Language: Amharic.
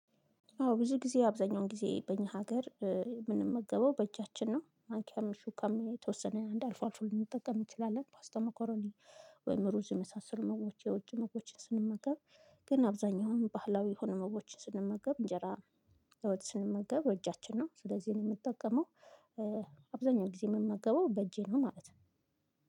አዎ ብዙ ጊዜ አብዛኛውን ጊዜ በእኛ ሀገር ምንመገበው በእጃችን ነው ማንኪያም ሹካም የተወሰነ አንድ አልፎ አልፎ ልንጠቀም እንችላለን ፓስታ መኮሮኒ ወይም ሩዝ የመሳሰሉ ምግቦች የውጭ ምግቦችን ስንመገብ ግን አብዛኛውን ባህላዊ የሆኑ ምግቦችን ስንመገብ እንጀራ በወጥ ስንመገብ በእጃችን ነው ስለዚህ የምንጠቀመው አብዛኛው ጊዜ የምመገበው በእጄ ነው ማለት ነው።